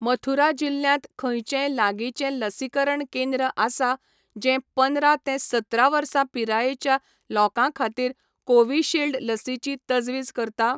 मथुरा जिल्ल्यांत खंयचेंय लागींचें लसीकरण केंद्र आसा जें पदरां ते सतरा वर्सां पिरायेच्या लोकां खातीर कोविशिल्ड लसीची तजवीज करता?